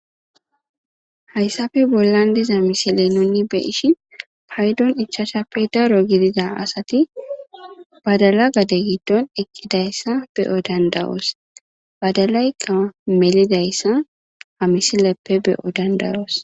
Hayssafe bollan diza misile nunni beishi paydon ichashappe daro gidida asati badala gade giddon eqqidayssa beyo dandawoos badalayqqa melidayssa hamisileppe beyo dandayoos.